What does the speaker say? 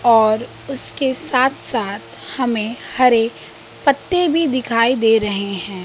और उसके साथ साथ हमें हरे पत्ते भी दिखाई दे रहे हैं।